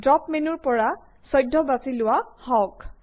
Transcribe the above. drop মেনুৰ পৰা 14 বাছি লোৱা হওঁক